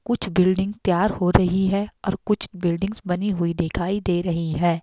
कुछ बिल्डिंग तैयार हो रही है और कुछ बिल्डिंग बनी हुई दिखाई दे रही है।